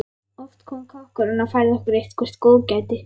Oft kom kokkurinn og færði okkur eitthvert góðgæti.